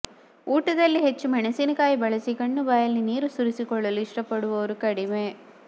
ಊಟದಲ್ಲಿ ಹೆಚ್ಚು ಮೆಣಸಿನಕಾಯಿ ಬಳಸಿ ಕಣ್ಣು ಬಾಯಲ್ಲಿ ನೀರು ಸುರಿಸಿಕೊಳ್ಳಲು ಇಷ್ಟಪಡುವವರು ಕಡಿಮೆ